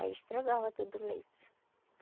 Aí estragava todo o leite.